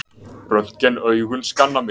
Röntgenaugun skanna mig.